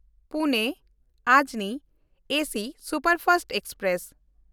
ᱯᱩᱱᱮ-ᱚᱡᱽᱱᱤ AC superfast express